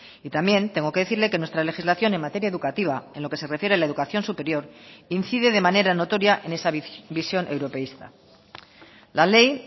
y también tengo que decirle que nuestra legislación en materia educativa en lo que se refiere a la educación superior incide de manera notoria en esa visión europeísta la ley